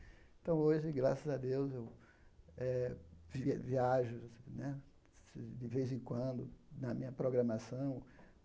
Então, hoje, graças a Deus, eu eh vi viajo né de vez em quando na minha programação.